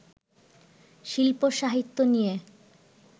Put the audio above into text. শিল্প-সাহিত্য নিয়ে